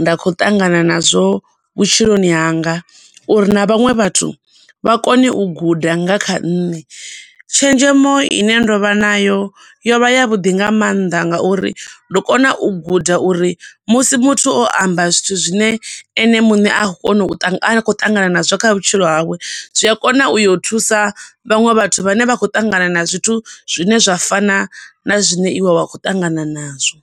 nda kho ṱangana nazwo vhutshiloni hanga. Uri na vhaṅwe vhathu vha kone u guda nga kha nṋe, tshenzhemo ine ndovha nayo yo vha ya vhuḓi nga mannḓa ngauri ndo kona u guda uri musi muthu o amba zwithu zwine ene muṋe a kho kona u ṱangana a kho ṱangana nazwo kha vhutshilo hawe zwi a kona u yo thusa vhaṅwe vhathu vhane vha khou ṱangana na zwithu zwine zwa fana na zwine iwe wa kho ṱangana nazwo.